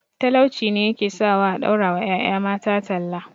Talauci ne ya ke sawa a ɗaura wa ƴaƴa mata talla